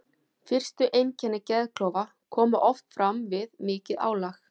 Fyrstu einkenni geðklofa koma oft fram við mikið álag.